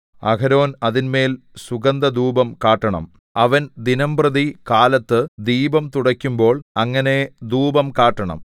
അഹരോൻ അതിന്മേൽ സുഗന്ധധൂപം കാട്ടണം അവൻ ദിനംപ്രതി കാലത്ത് ദീപം തുടയ്ക്കുമ്പോൾ അങ്ങനെ ധൂപം കാട്ടണം